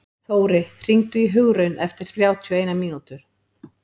Þóri, hringdu í Hugraun eftir þrjátíu og eina mínútur.